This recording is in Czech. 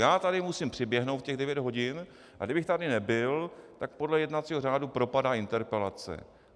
Já tady musím přiběhnout v těch devět hodin, a kdybych tady nebyl, tak podle jednacího řádu propadá interpelace.